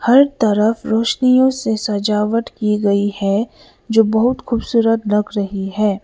हर तरफ रोशनियों से सजावट की गई है जो बहुत खूबसूरत लग रही है।